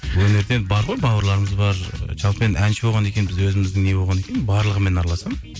өнерден бар ғой бауырларымыз бар жалпы енді әнші болғаннан кейін біз өзіміздің не болғаннан кейін барлығымен араласамын